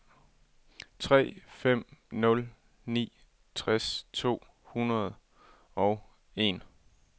tre fem nul ni tres to hundrede og en